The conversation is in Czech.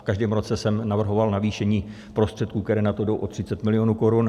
V každém roce jsem navrhoval navýšení prostředků, které na to jdou, o 30 mil. korun.